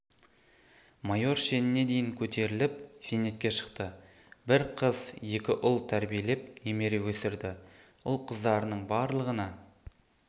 майор шеніне дейін көтеріліп зейнетке шықты бір қыз екі ұл тәрбиелеп немере өсірді ұл-қыздарының барлығына